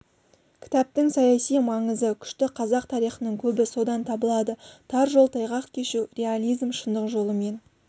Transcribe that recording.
кітаптың саяси маңызы күшті қазақ тарихының көбі содан табылады тар жол тайғақ кешу реализм шындық жолымен